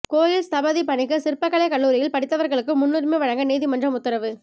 கோயில் ஸ்தபதி பணிக்கு சிற்பக்கலை கல்லூரியில் படித்தவர்களுக்கு முன்னுரிமை வழங்க நீதிமன்றம் உத்தரவு